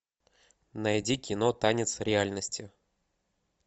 найди кино танец реальности